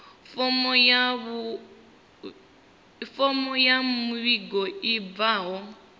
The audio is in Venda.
fomo ya muvhigo i bvaho